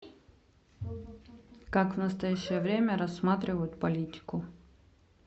как в настоящее время рассматривают политику